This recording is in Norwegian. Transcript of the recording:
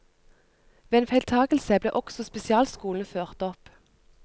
Ved en feiltagelse ble også spesialskolene ført opp.